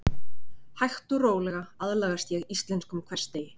Hægt og rólega aðlagast ég íslenskum hversdegi.